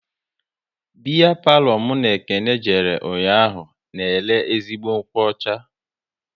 Biya palo mụ na Ekene jere ụnyaahụ na ere ezigbo nkwụ ọcha